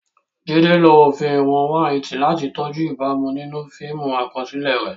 Jide lo òfin ìwọ̀n 180 láti tọ́jú ìbámu nínú fíìmù àkọsílẹ̀ rẹ̀.